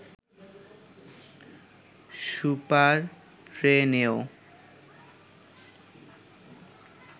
super টেনেও